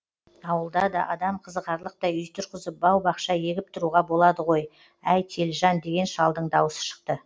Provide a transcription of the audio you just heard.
ауылда да адам қызығарлықтай үй тұрғызып бау бақша егіп тұруға болады ғой әй телжан деген шалдың дауысы шықты